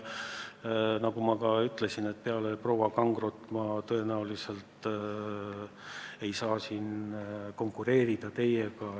Ma ütlesin, et peale proua Kangrot ma tõenäoliselt ei saa siin teiega konkureerida.